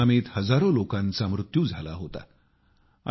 या सुनामीत हजारो लोकांचा मृत्यू झाला होता